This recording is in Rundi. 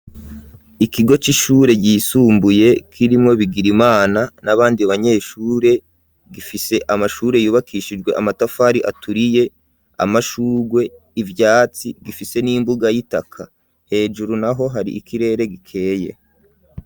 Ikigo c'ishure ryisumbuye kirimwo Bigirimana n'abandi banyeshure ,gifise amashure yubakishijwe amatafari aturiye ,amashurwe ,ivyatsi, gifise n'imbuga y'itaka, hejuru naho hari ikirere gikeye.